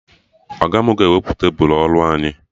Ọga mụ ga-ewepụ tebụl ọrụ anyị